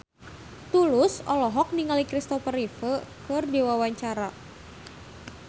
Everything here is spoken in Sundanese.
Tulus olohok ningali Christopher Reeve keur diwawancara